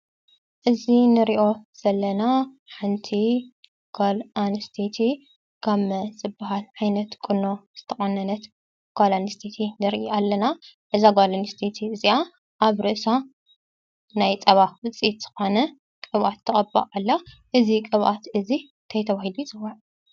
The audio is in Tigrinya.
እዚ እንሪኦ ዘለና ሓንቲ ጓል ኣነስተይቲ ጋመ ዝበሃል ዓይነት ቁኖ ዝተቆነነት ጓል ኣነስተይቲ ንርኢ ኣለና፡፡ እዛ ጓል ኣነስተይቲ እዚኣ ኣብ ርእሳ ናይ ፀባ ውፅኢት ዝኾነ ቅባኣት ትቅባእ ኣላ፡፡ እዚ ቅብኣት እዚ እንታይ ተባሂሉ ይፅዋዕ?